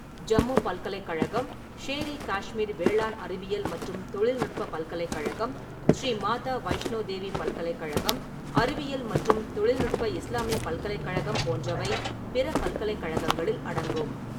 ஜம்மு பல்கலைக்கழகம், ஷேர்-இ-காஷ்மீர் வேளாண் அறிவியல் மற்றும் தொழில்நுட்ப பல்கலைக்கழகம், ஸ்ரீ மாதா வைஷ்ணோ தேவி பல்கலைக்கழகம், அறிவியல் மற்றும் தொழில்நுட்ப இஸ்லாமிய பல்கலைக்கழகம் போன்றவை பிற பல்கலைக்கழகங்களில் அடங்கும்.